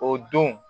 O don